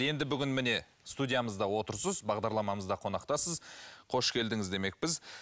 енді бүгін міне студиямызда отырсыз бағдарламамызда қонақтасыз қош келдіңіз демекпіз